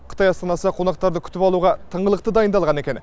қытай астанасы қонақтарды күтіп алуға тыңғылықты дайындалған екен